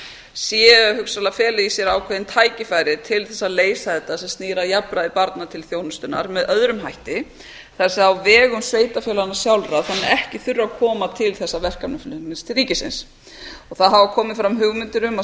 sé hugsanlega að fela í sér ákveðin tækifæri til þess að leysa þetta sem snýr að jafnræði barna til þjónustunnar með öðrum hætti það er á vegum sveitarfélaganna sjálfra þannig að ekki þurfi að koma til þessa verkefnaflutnings til ríkisins það hafa komið fram hugmyndir um að